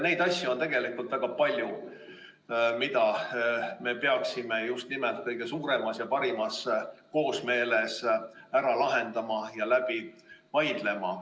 Neid asju on väga palju, mida me peaksime just nimelt kõige suuremas ja paremas koosmeeles ära lahendama ja läbi vaidlema.